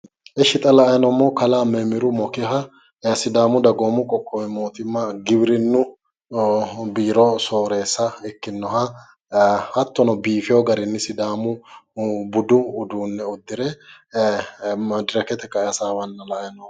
Ishshi xa la"ayi noommohu kalaa memmiru mokeha sidaamu dagoomu qoqqowi mootimma giwirinnu biiro sooreessa ikkinnoha hattono biifewo garinni sidaamu budu uduunne uddire madirakete ka"e hasaawanna la"ayi noommo